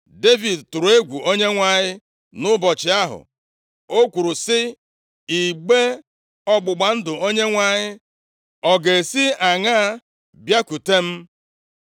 Devid tụrụ egwu Onyenwe anyị nʼụbọchị ahụ. O kwuru sị, “Igbe ọgbụgba ndụ Onyenwe anyị ọ ga-esi aṅaa bịakwute m?”